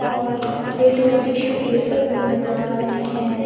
और प्लेट में tissue paper भी नजर आ रहे हैं।